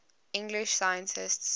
english scientists